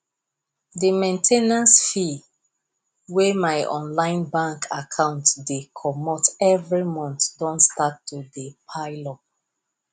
the main ten ance fees wey my online bank account dey comot every month don start to dey pile up